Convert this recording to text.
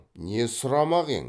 не сұрамақ ең